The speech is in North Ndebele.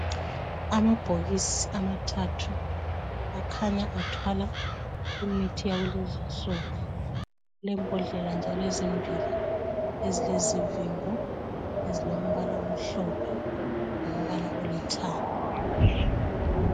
Amabhokisi amathathu akhanya athwala imithi yakulezi insuku lembhodlela njalo ezimbili ezilezivimbo ezilombala omhlophe elombala olithanga